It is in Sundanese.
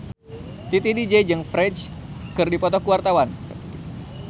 Titi DJ jeung Ferdge keur dipoto ku wartawan